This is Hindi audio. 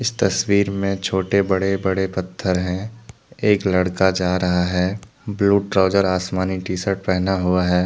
तस्वीर में छोटे बड़े बड़े पत्थर हैं। एक लड़का जा रहा है। ब्लू ट्राउजर आसमानी टी सर्ट पहना हुआ है।